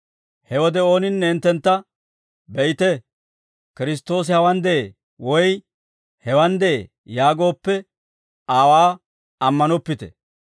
«He wode ooninne hinttentta, ‹Be'ite. Kiristtoosi hawaan de'ee› woy, ‹Hewaan de'ee› yaagooppe aawaa ammanoppite.